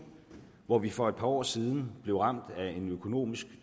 hvor vi for et par år siden blev ramt af en økonomisk